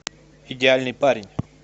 идеальный парень